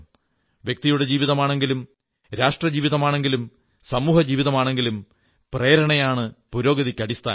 വ്യക്തിയുടെ ജീവിതമാണെങ്കിലും രാഷ്ട്രജീവിതമാണെങ്കിലും സമൂഹജീവിതമാണെങ്കിലും പ്രേരണയാണ് പുരോഗതിക്ക് അടിസ്ഥാനം